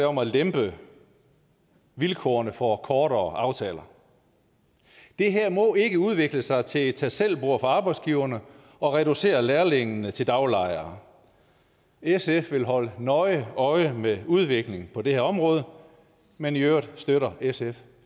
om at lempe vilkårene for kortere aftaler det her må ikke udvikle sig til et tag selv bord for arbejdsgiverne og reducere lærlingene til daglejere sf vil holde nøje øje med udviklingen på det her område men i øvrigt støtter sf